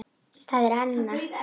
Það er Anna.